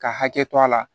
Ka hakɛ to a la